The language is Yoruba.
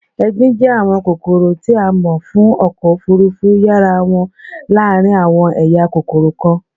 égbin jẹ awọn kokoro ti a mọ fun ọkọ ofurufu yara wọn laarin awọn eya kokoro kan